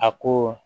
A ko